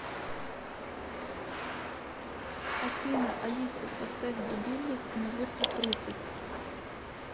афина алиса поставь будильник на восемь тридцать